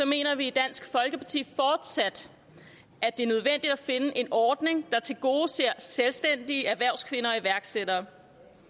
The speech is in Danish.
mener vi i dansk folkeparti fortsat at det er nødvendigt at finde en ordning der tilgodeser selvstændige erhvervskvinder og iværksættere